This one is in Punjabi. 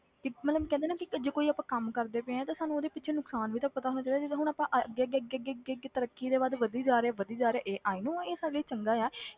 ਕਿ ਮਤਲਬ ਕਹਿੰਦੇ ਆ ਨਾ ਕਿ ਜੇ ਕੋਈ ਆਪਾਂ ਕੰਮ ਕਰਦੇ ਪਏ ਹਾਂ ਤੇ ਸਾਨੂੰ ਉਹਦੇ ਵਿੱਚ ਨੁਕਸਾਨ ਵੀ ਤਾਂ ਪਤਾ ਹੋਣਾ ਚਾਹੀਦੇ, ਜਿੱਦਾਂ ਹੁਣ ਆਪਾਂ ਅੱਗੇ ਅੱਗੇ ਅੱਗੇ ਅੱਗੇ ਅੱਗੇ ਅੱਗੇ ਤਰੱਕੀ ਦੇ ਵੱਲ ਵਧੀ ਜਾ ਰਹੇ ਹਾਂ ਵਧੀ ਜਾ ਰਹੇ ਹਾਂ ਇਹ i know ਇਹ ਸਾਡੇ ਲਈ ਚੰਗਾ ਆ